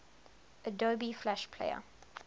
adobe flash player